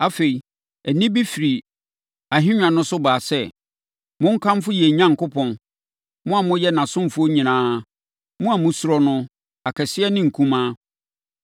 Afei, nne bi firi ahennwa no so baa sɛ, “Monkamfo yɛn Onyankopɔn, mo a moyɛ nʼasomfoɔ nyinaa, mo a mosuro no, akɛseɛ ne nkumaa!”